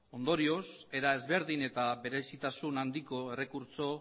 ondorioz era desberdin eta berezitasun handiko errekurtso